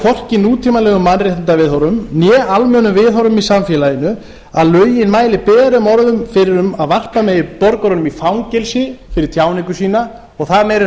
hvorki nútímalegum mannréttindaviðhorfum né almennum viðhorfum í samfélaginu að lögin mæli berum orðum fyrir um að varpa megi borgurunum í fangelsi fyrir tjáningu sína og það meira að